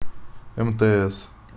мтс